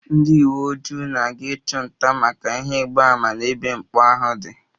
Ndị uweojii na-aga ịchụ nta maka clues n'ebe mpụ ahụ dị